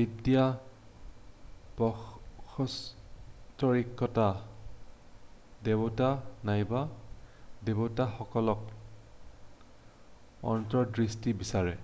বিদ্য বাস্তৱিকতা/দেৱতা নাইবা দেৱতাসকলত অন্তৰ্দৃষ্টি বিচাৰে৷